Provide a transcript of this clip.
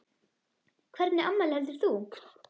Hvernig afmæli heldur þú?